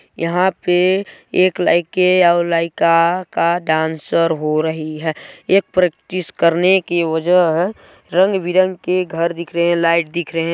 यहाँ पे एक लइके अउ लइका का डाँसर हो रही है एक प्रैक्टिस करने की वजह रंग-बीरंग के घर दिख रहे है लाइट दिख रहे है।